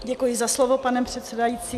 Děkuji za slovo, pane předsedající.